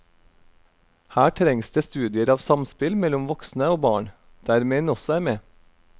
Her trengs det studier av samspill mellom voksne og barn, der menn også er med.